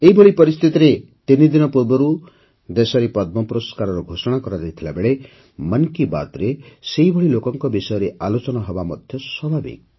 ଏଭଳି ପରିସ୍ଥିତିରେ ତିନିଦିନ ପୂର୍ବରୁ ଦେଶରେ ପଦ୍ମ ପୁରସ୍କାରର ଘୋଷଣା କରାଯାଇଥିବାବେଳେ ମନ୍ କି ବାତ୍ରେ ସେହିଭଳି ଲୋକଙ୍କ ବିଷୟରେ ଆଲୋଚନା ହେବା ସ୍ୱାଭାବିକ